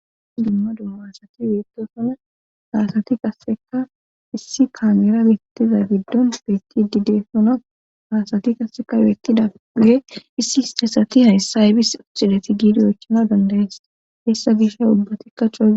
dumma dumma asati beetosona haasati qasseka issi kaamera beettiza giddon beetti dide sona haasati kasseka yoettida ge issi istesati hayssaybis osideti giidiyoychana dandayees hessa gishay ubbatikka coa